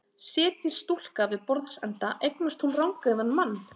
Setjist stúlka við borðsenda eignast hún rangeygðan mann.